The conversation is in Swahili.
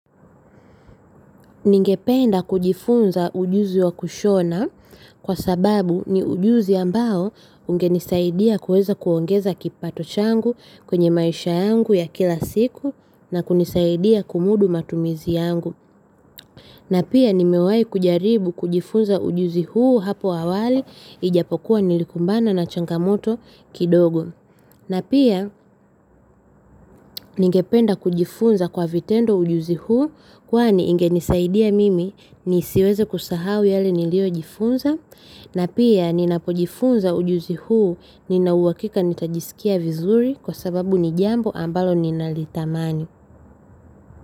Ningependa kujifunza ujuzi wa kushona kwa sababu ni ujuzi ambao ungenisaidia kuweza kuongeza kipato changu kwenye maisha yangu ya kila siku, na kunisaidia kumudu matumizi yangu. Na pia nimewahi kujaribu kujifunza ujuzi huu hapo awali, ijapokuwa nilikumbana na changamoto kidogo. Na pia ningependa kujifunza kwa vitendo ujuzi huu, kwani ingenisaidia mimi nisiweze kusahau yale niliyojifunza. Na pia ninapojifunza ujuzi huu, ninauhakika nitajisikia vizuri, kwa sababu ni jambo ambalo ninalitamani.